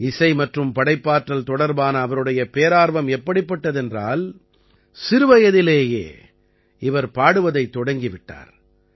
இசை மற்றும் படைப்பாற்றல் தொடர்பான அவருடைய பேரார்வம் எப்படிப்பட்டது என்றால் சிறுவயதிலேயே இவர் பாடுவதைத் தொடங்கி விட்டார்